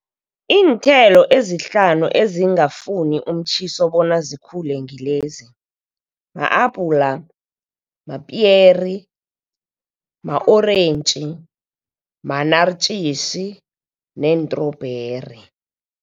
Iinthelo ezihlanu ezingafuni umtjhiso bona zikhule ngilezi ma-apula, mapiyeri, ma-orentji, ma-naartjies neentrobheri.